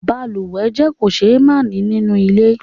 Balùwẹ́ jẹ́ kòsémání nínú ilé